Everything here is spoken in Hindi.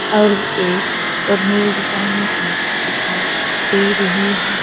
और एक और रोड जाने की दिखाई दे रही है।